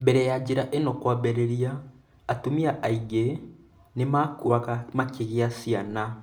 Mbere ya njĩra ĩno kwambĩrĩria, atumia aingĩ-inĩ nĩ maakuuaga makĩgĩa ciana.